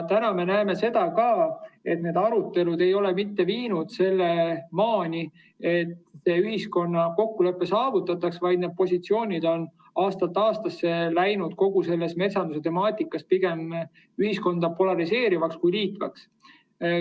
Täna me näeme, et need arutelud ei ole mitte viinud sinnamaani, et ühiskonnas kokkulepe saavutataks, vaid need positsioonid on aastast aastasse läinud kogu metsanduse temaatikas selliseks, et need pigem ühiskonda polariseerivad kui liidavad.